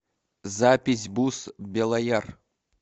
запись бус белояр